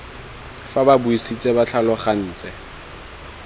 fa ba buisitse ba tlhalogantse